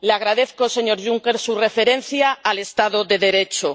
Le agradezco, señor Juncker, su referencia al Estado de Derecho.